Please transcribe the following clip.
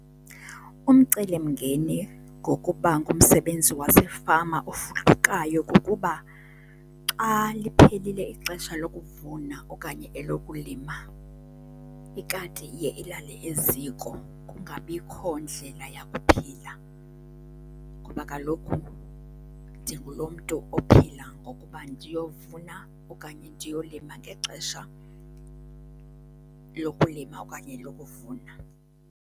Umcelimngeni ngokuba ngumsebenzi wasefama ofudukayo kukuba xa liphelile ixesha lokuvuna okanye elokulima, ikati iye ilale eziko, kungabikho ndlela yakuphila. Ngoba kaloku ndingulo mntu ophila ngokuba ndiyovuna okanye ndiyolima ngxesha lokulima okanye lokuvuna.